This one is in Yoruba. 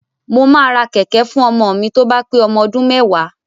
Mo máa ra kẹ̀kẹ́ fún ọmọ mi tó bá pé ọmọ ọdún méwàá.